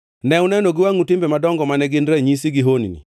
Ne uneno gi wangʼu timbe madongo mane gin ranyisi gi honni.